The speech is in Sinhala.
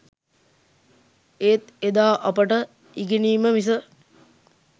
ඒත් එදා අපට ඉගෙනීම මිස